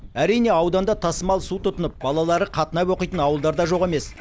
әрине ауданда тасымал су тұтынып балалары қатынап оқитын ауылдар да жоқ емес